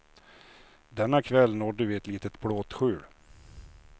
Denna kväll nådde vi ett litet plåtskjul.